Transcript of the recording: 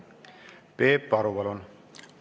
Peep Aru, palun!